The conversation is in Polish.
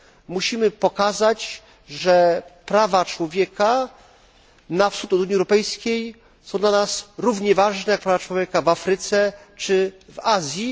Musimy pokazać, że prawa człowieka na wschód od Unii Europejskiej są dla nas równie ważne, jak prawa człowieka w Afryce czy w Azji.